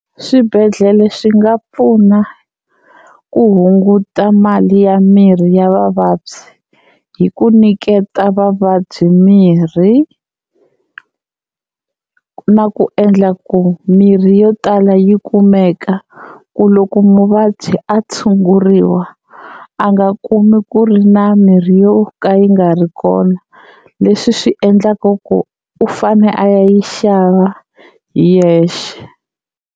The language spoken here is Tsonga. Swibedhlele swi nga pfuna ku hunguta mali ya mirhi ya vavabyi hi ku nyiketa vavabyi mirhi, na ku endla ku mirhi yo tala yi kumeka ku loko muvabyi a tshunguriwa a nga kumi ku ri na mirhi yo ka yi nga ri kona leswi swi endlaka ku u fane a ya yi xava hi yexe.